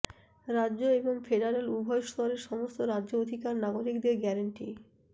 রাজ্য এবং ফেডারেল উভয় স্তরের সমস্ত রাজ্য অধিকার নাগরিকদের গ্যারান্টি